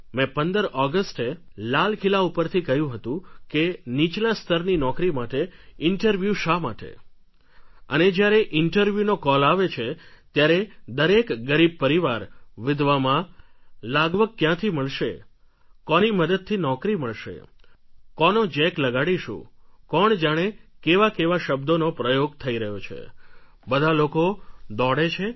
મેં 15 ઑગસ્ટે લાલ કિલ્લા ઉપરથી કહ્યું હતું કે નીચલા સ્તરની નોકરી માટે ઇન્ટરવ્યુ શા માટે અને જ્યારે ઇન્ટરવ્યુ નો કોલ આવે છે ત્યારે દરેક ગરીબ પરિવાર વિધવા મા લાગવગ ક્યાંથી મળશે કોની મદદથી નોકરી મળશે કોનો જેક લગાડીશું કોણ જાણે કેવા કેવા શબ્દ પ્રયોગ થઈ રહ્યા છે બધા લોકો દોડે છે